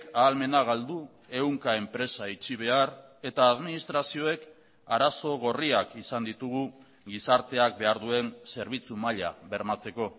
ahalmena galdu ehunka enpresa itxi behar eta administrazioek arazo gorriak izan ditugu gizarteak behar duen zerbitzu maila bermatzeko